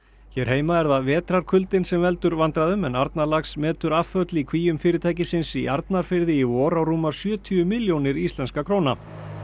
hér heima er það vetrarkuldinn sem veldur vandræðum en Arnarlax metur afföll í kvíum fyrirtækisins í Arnarfirði í vor á rúmar sjötíu milljónir íslenskra króna